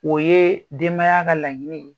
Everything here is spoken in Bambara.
O ye denbaya ka laɲini ye.